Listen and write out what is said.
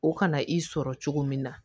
O kana i sɔrɔ cogo min na